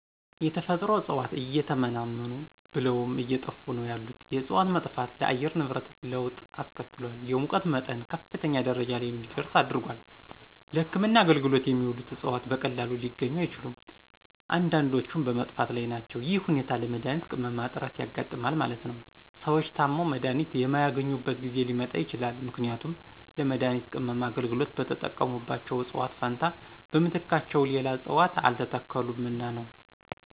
የተፈጥሮ እጽዋት እየተመናመኑ ብለውም አየጠፉ ነው ያሉት የእጽዋት መጥፋት ለአየር ንብረት ለወጥ አስከትሏል የሙቀት መጠን ከፍተኛ ደረጃ ለይ እንዲደርስ አድርጓል። ለህክምና አገልግሎት የሚውሉት እጽዋት በቀላሉ ሊገኙ አይችሉም። አንዳንዶችም በመጥፋት ላይ ናቸው ይህ ሁኔታ ለመድሀኒት ቅመማ እጥረት ያጋጥማል ማለት ነው። ሰዎች ታመው መድሀኒት የማያገኙበት ጊዜ ሊመጣ ይችላል ምክንያቱም ለመድሀኒት ቅመማ አገልግሎት በተጠቀሙባቸው እጽዋት ፈንታ በምትካቸው ሌላ እጽዋት አልተተከሉምና ነው።